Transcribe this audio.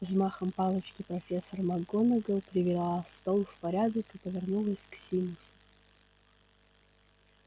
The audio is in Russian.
взмахом палочки профессор макгонагалл привела стол в порядок и повернулась к симусу